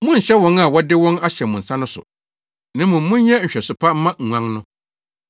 Monnhyɛ wɔn a wɔde wɔn ahyɛ mo nsa no so, na mmom monyɛ nhwɛso pa mma nguan no.